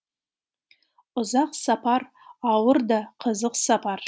ұзақ сапар ауыр да қызық сапар